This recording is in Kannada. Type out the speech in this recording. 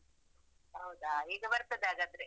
ಹೌದಾ, ಈಗ ಬರ್ತದೆ ಹಾಗಾದ್ರೆ.